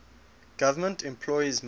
government employees make